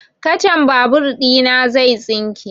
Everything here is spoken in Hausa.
Kacan babur ina zai tsinke